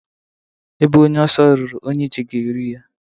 Ebe onye ọsọ ruru, onye ije ga-eru ya.